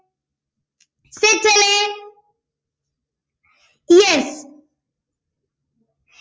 set അല്ലെ yes